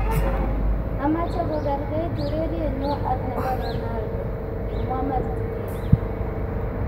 "Amache kokerkeit urerienyu ak nebo Ronaldo",kimwa Martinelli